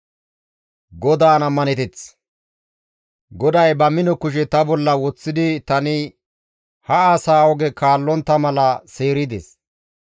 GODAY ba mino kushe ta bolla woththidi tani ha asaa oge kaallontta mala seerides;